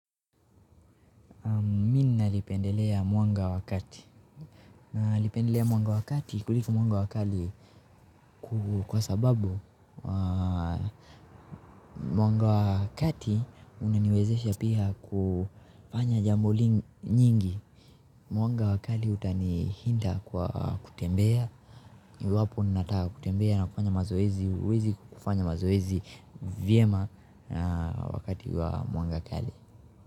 Nalipendelea mwanga wa kati. Nalipendelea mwanga wa kati kuliko mwanga wa kali kwa sababu mwanga wa kati unaniwezesha pia kufanya jambo lingi nyingi. Mwanga wa kali utanihinda kwa kutembea. Iwapo unataka kutembea na kufanya mazoezi huwezi kufanya mazoezi vyema wakati wa mwanga kali.